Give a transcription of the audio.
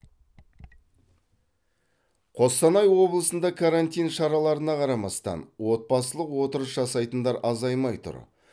қостанай облысында карантин шараларына қарамастан отбасылық отырыс жасайтындар азаймай тұр